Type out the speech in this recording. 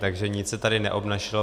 Takže nic se tady neobnažilo.